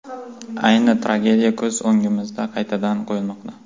Ayni tragediya ko‘z o‘ngimizda qaytadan qo‘yilmoqda.